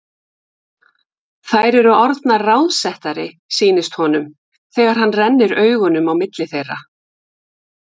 Þær eru orðnar ráðsettari, sýnist honum, þegar hann rennir augunum á milli þeirra.